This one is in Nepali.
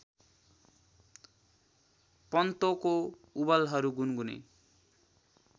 पत्तोंको उबलहरू गुनगुने